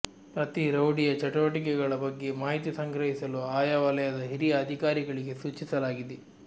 ಪ್ರತಿ ರೌಡಿಯ ಚಟುವಟಿಗೆಗಳ ಬಗ್ಗೆ ಮಾಹಿತಿ ಸಂಗ್ರಹಿಸಲು ಆಯಾ ವಲಯದ ಹಿರಿಯ ಅಧಿಕಾರಿಗಳಿಗೆ ಸೂಚಿಸಲಾಗಿದೆ